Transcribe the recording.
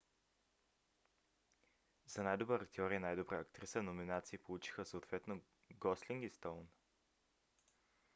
за най-добър актьор и най-добра актриса номинации получиха съответно гослинг и стоун